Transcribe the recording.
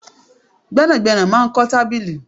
Gbẹ́nàgbẹ́nà máa ń kọ tábìlì